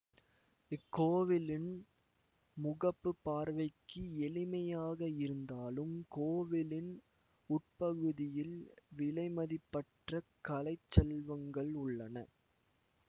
இக்கோவிலின் முகப்பு பார்வைக்கு எளிமையாக இருந்தாலும் கோவிலின் உட்பகுதியில் விலைமதிப்பற்ற கலைச் செல்வங்கள் உள்ளன